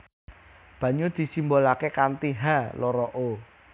Banyu disimbolaké kanthi H loro O